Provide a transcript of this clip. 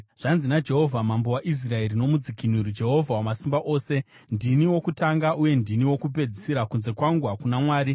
“Zvanzi naJehovha, Mambo waIsraeri noMudzikinuri, Jehovha Wamasimba Ose: Ndini wokutanga uye ndini wokupedzisira; kunze kwangu hakuna Mwari.